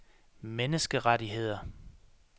menneskerettigheder